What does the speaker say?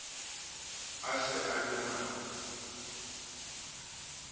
a se a e na